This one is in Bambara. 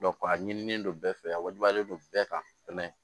a ɲinilen don bɛɛ fɛ a wajibiyalen don bɛɛ kan